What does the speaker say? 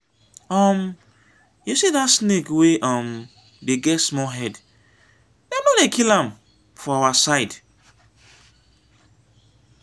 um you see that snake wey um dey get small head dem no dey kill am for our side